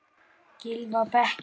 Gylfi á bekkinn?